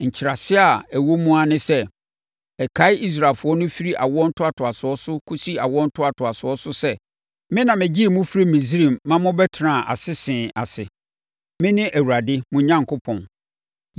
Nkyerɛaseɛ a ɛwɔ mu ara ne sɛ, ɛkae Israelfoɔ no firi awoɔ ntoatoasoɔ so kɔsi awoɔ ntoatoasoɔ so sɛ, me na megyee mo firii Misraim ma mobɛtenaa asese ase. Mene Awurade mo Onyankopɔn.’ ”